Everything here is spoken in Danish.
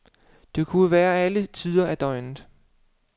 Det kunne være alle tider af døgnet.